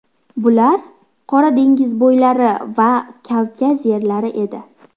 Bular Qora dengiz bo‘ylari va Kavkaz yerlari edi.